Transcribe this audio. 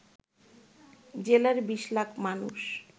জেলার ২০ লাখ মানুষ